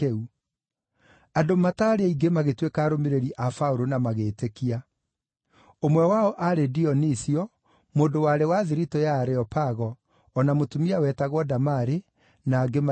Andũ mataarĩ aingĩ magĩtuĩka arũmĩrĩri a Paũlũ na magĩĩtĩkia. Ũmwe wao aarĩ Dionisio, mũndũ warĩ wa thiritũ ya Areopago, o na mũtumia wetagwo Damari, na angĩ maigana ũna.